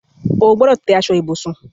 O gbọdọ̀ tẹ́ aṣọ ibùsùn